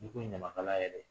N'i ko ɲamakala yɛrɛ